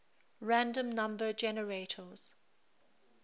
random number generators